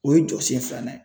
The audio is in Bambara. O ye jɔsen filanan ye.